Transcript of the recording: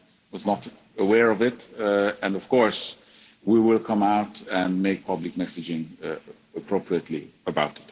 This is new to me. I was not aware of it and, of course, we will come out and make public messaging